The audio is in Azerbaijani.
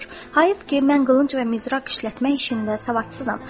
Hayıf ki, mən qılınc və mizraq işlətmək işində savadsızam.